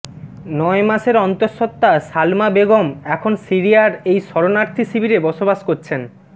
নয় মাসের অন্তঃসত্ত্বা সালমা বেগম এখন সিরিয়ার এই শরণার্থী শিবিরে বসবাস করছেন